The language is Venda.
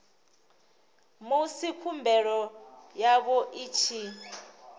musi khumbelo yavho i tshi